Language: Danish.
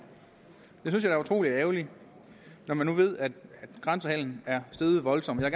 synes er utrolig ærgerligt når man nu ved at grænsehandelen er steget voldsomt jeg